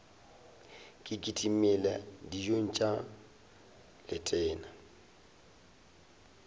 ke kitimele dijong tša letena